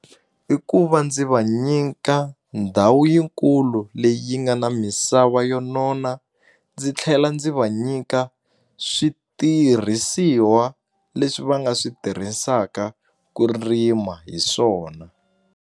I ku va ndzi va nyika ndhawu yikulu leyi yi nga na misava yo nona ndzi tlhela ndzi va nyika switirhisiwa leswi va nga swi tirhisaka ku rima hi swona.